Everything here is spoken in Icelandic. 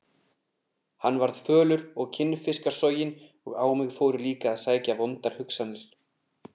Hann varð fölur og kinnfiskasoginn og á mig fóru líka að sækja vondar hugsanir.